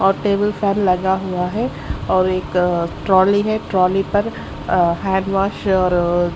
और table fan लगा हुआ है और एक ट्रॉली है ट्रॉली पर अं हैंड वाश और --